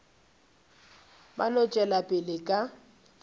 ba no tšwela pele ka